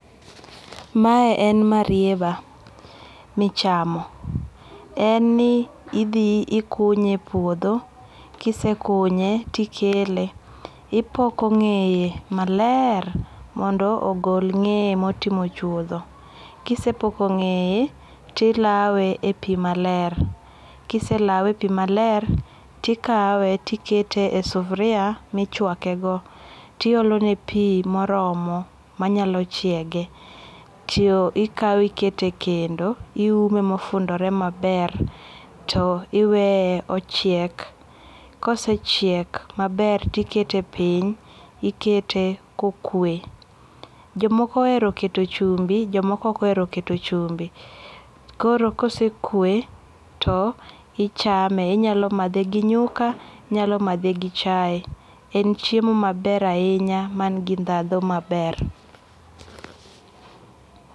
Mae en marieba michamo, en ni ithi to ikunye e puotho, kisekunye to ikele ipoko nge'ye maler mondo ogol nge'ye ma otimo chuotho, kisepoko nge'ye tilawe e pi maler kiselawe e pi maler tikawe to ikete e sufuria michuakego tiolone pi moromo manyalo chiege to ikawe ikete e kendo, iwume ma ofundore maber to iweye ochiek kosechiek maber to ikete piny, ikete ka okwe, jomoko ohero keto chumbi jomoko okohero keto chumbi c, koro kosekwe to ichame inyalo mathe gi nyuka, inyalo mathe gi chai en chiemo maber ahinya mangi thatho maber